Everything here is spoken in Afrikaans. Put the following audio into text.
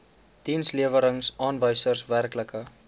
dienslewerings aanwysers werklike